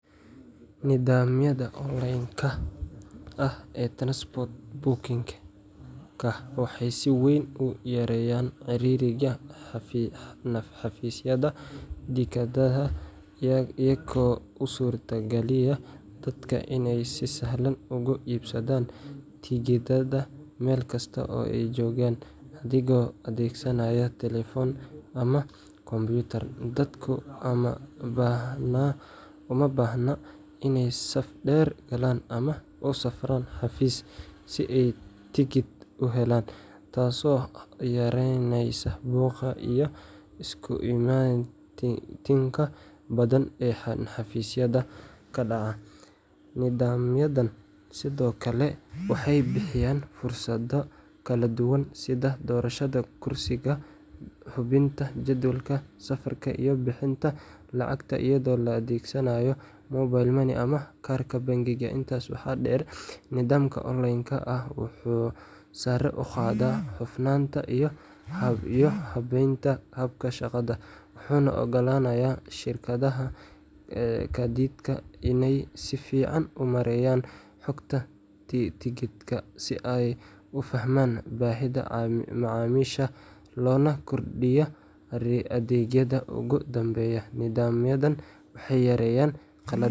Nidaamyada online-ka ah ee transport booking-ka waxay si weyn u yareeyaan ciriiriga xafiisyada tigidhada iyagoo u suurtageliya dadka in ay si sahlan uga iibsadaan tigidhada meel kasta oo ay joogaan adigoo adeegsanaya taleefan ama kombiyuutar. Dadku uma baahna inay saf dheer galaan ama u safraan xafiis si ay tigidh u helaan, taasoo yaraynaysa buuqa iyo isku imaatinka badan ee xafiisyada ka dhaca. Nidaamyadani sidoo kale waxay bixiyaan fursado kala duwan sida doorashada kursiga, hubinta jadwalka safarka, iyo bixinta lacagta iyadoo la adeegsanayo mobile money ama kaarka bangiga. Intaas waxaa dheer, nidaamka online-ka ah wuxuu sare u qaadaa hufnaanta iyo habeynta habka shaqada, wuxuuna u oggolaanayaa shirkadaha gaadiidka inay si fiican u maareeyaan xogta tigidhada, si ay u fahmaan baahida macaamiisha loona kordhiyo adeegyada. Ugu dambeyntii, nidaamyadan waxay yareeyaan qaladaadka.